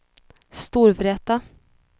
Storvreta